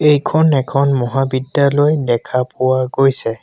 এইখন এখন মহাবিদ্যালয় দেখা পোৱা গৈছে।